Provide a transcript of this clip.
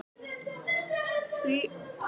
Nær hann að standa undir verðmiðanum?